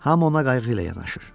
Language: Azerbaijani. Hamı ona qayğı ilə yanaşır.